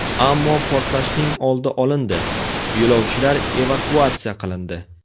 Ammo portlashning oldi olindi, yo‘lovchilar evakuatsiya qilindi.